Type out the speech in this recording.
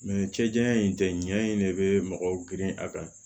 cɛ janya in tɛ ɲɛ in de be mɔgɔw grin a kan